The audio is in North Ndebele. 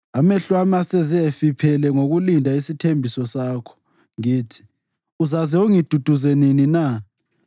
Amehlo ami aseze efiphala ngokulinda isithembiso sakho; ngithi, “Uzaze ungiduduze nini na?”